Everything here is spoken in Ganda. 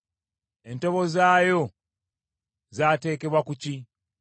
Entobo zaayo zaateekebwa ku ki?